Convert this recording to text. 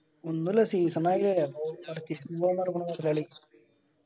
ഒന്നൂല്ല season ആകയല്ലേ അപ്പൊ purchase ന് പോകാൻ പറഞ്ഞു മൊതലാളി.